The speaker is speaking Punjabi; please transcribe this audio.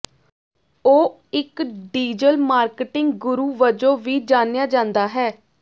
ਉਹ ਇੱਕ ਡਿਜੀਟਲ ਮਾਰਕੀਟਿੰਗ ਗੁਰੂ ਵਜੋਂ ਵੀ ਜਾਣਿਆ ਜਾਂਦਾ ਹੈ